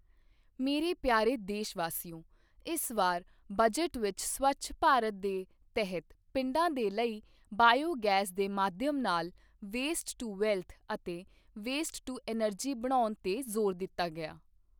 ਮੇਰੇ ਪਿਆਰੇ ਦੇਸ਼ ਵਾਸੀਓ, ਇਸ ਵਾਰ ਬਜਟ ਵਿੱਚ ਸਵੱਛ ਭਾਰਤ ਦੇ ਤਹਿਤ ਪਿੰਡਾਂ ਦੇ ਲਈ ਬਾਇਓ ਗੈਸ ਦੇ ਮਾਧਿਅਮ ਨਾਲ ਵੇਸਟ ਟੂ ਵੈਲਥ ਅਤੇ ਵੇਸਟ ਟੂ ਐਨਰਜੀ ਬਣਾਉਣ ਤੇ ਜ਼ੋਰ ਦਿੱਤਾ ਗਿਆ।